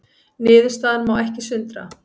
Niðurstaðan má ekki sundra